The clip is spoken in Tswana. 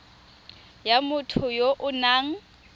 ya motho ya o nang